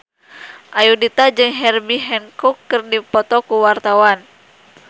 Ayudhita jeung Herbie Hancock keur dipoto ku wartawan